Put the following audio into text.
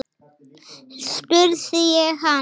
spurði ég hann.